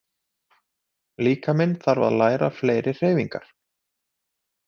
Líkaminn þarf að læra fleiri hreyfingar.